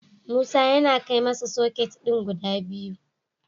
Musa yana kai masa soket din guda biyu.